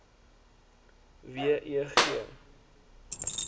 w e g